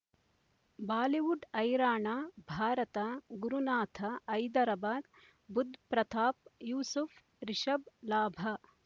Bollywood ಹೈರಾಣ ಭಾರತ ಗುರುನಾಥ ಹೈದರಾಬಾದ್ ಬುಧ್ ಪ್ರತಾಪ್ ಯೂಸುಫ್ ರಿಷಬ್ ಲಾಭ